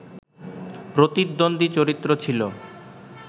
প্রতিদ্বন্দী চরিত্র ছিল